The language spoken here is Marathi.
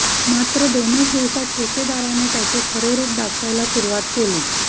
मात्र दोनच दिवसात ठेकेदाराने त्याचे खरे रूप दाखवायला सुरुवात केली